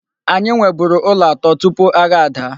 Anyị nweburu ụlọ atọ tupu agha ada.